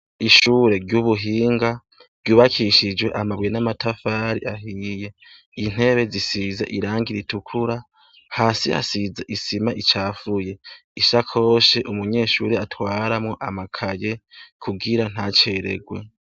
Ishure ry'ubuhinga ryubakishijwe amabuye n'amatafari ahiye. Intebe zisize irangi ritukura. Hasi hasize isima icafuye. Ishakoshi umunyeshure atwaramwo amakaye kugira ntaceregwe.